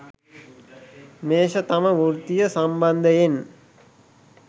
මේෂ තම වෘත්තිය සම්බන්ධයෙන්